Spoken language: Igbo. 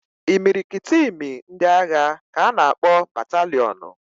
Imirikiti imi ndị agha ka a na-akpọ bataliọnụ